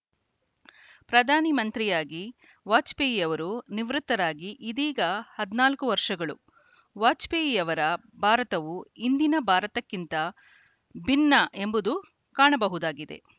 ಪ್ರಧಾನಿ ಮಂತ್ರಿಯಾಗಿ ವಾಜಪೇಯಿಯವರು ನಿವೃತ್ತರಾಗಿ ಇದೀಗ ಹದಿನಾಲ್ಕು ವರ್ಷಗಳು ವಾಜಪೇಯಿಯವರ ಭಾರತವು ಇಂದಿನ ಭಾರತಕ್ಕಿಂತ ಭಿನ್ನ ಎಂಬುದು ಕಾಣಬಹುದಾಗಿದೆ